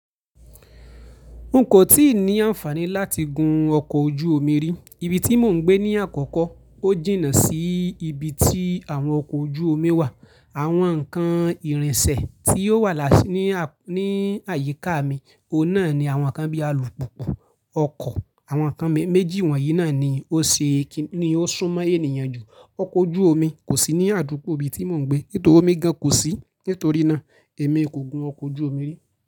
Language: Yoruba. N kò tíì ní àǹfààní láti gun ọkọ̀ ojú omi rí. Ibi tí mò ń gbé ní àkọ́kọ́, ó jìnnà sí ibi tí àwọn ọkọ̀ ojú omi wà. Àwọn nǹkan ìrìnsẹ̀ tí ó wà ní àyíká mi, óun náá ní àwọn nǹkan bíi alùpùpù, ọkọ̀. Àwọn nǹkan méjì wọ̀nyí náà ni ó ṣúnmọ́ ènìyàn jù. Ọkọ̀ ojú omi kò sí ní àdúgbò ibi tí mò ń gbé, tò omi gan kò sí, nítorí náà èmi kò gun ọkọ̀ ojú omi rí.